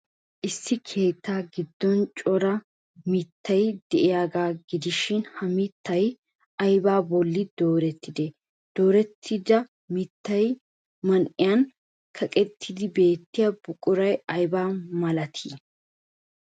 Issi keettaa giddon cora mittay de'iyaagaa gidishin, ha mittay aybaa bolli doorettidee? Doorettida mittaa man''iyan kaqqettidi beettiya buquray aybaa malatii?